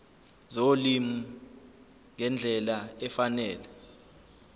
zolimi ngendlela efanele